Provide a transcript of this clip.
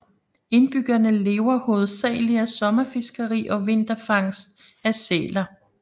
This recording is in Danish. Indbyggerne lever hovedagelig af sommerfiskeri og vinterfangst af sæler